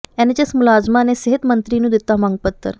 NHM ਮੁਲਾਜ਼ਮਾਂ ਨੇ ਸਿਹਤ ਮੰਤਰੀ ਨੂੰ ਦਿੱਤਾ ਮੰਗ ਪੱਤਰ